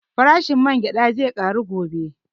Farashin man gyaɗa zai ƙaru gobe